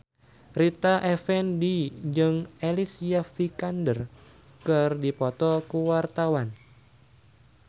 Rita Effendy jeung Alicia Vikander keur dipoto ku wartawan